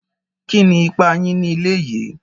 Kíni ípà yín ní ilẹ̀ yì?